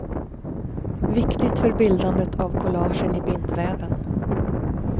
Viktigt för bildandet av kollagen i bindväven.